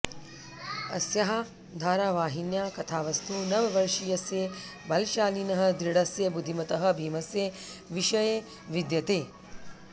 अस्याः धारावाहिन्याः कथावस्तु नववर्षीयस्य बलशालिनः दृढस्य बुद्धिमतः भीमस्य विषये विद्यते